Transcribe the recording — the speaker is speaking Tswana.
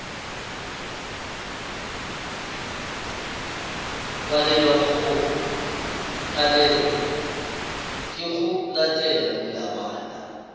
palelwa ke go latela melawana